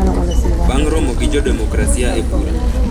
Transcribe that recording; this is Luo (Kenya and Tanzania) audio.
bang' romo gi jo demokrasia e bura